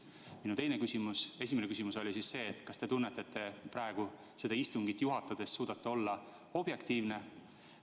Niisiis, minu esimene küsimus oli selline: kas te tunnete praegust istungit juhatades, et suudate olla objektiivne?